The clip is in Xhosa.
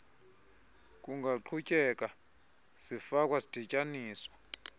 kungaqhutyeka zifakwa zidityaniswa